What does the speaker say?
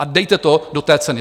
A dejte to do té ceny.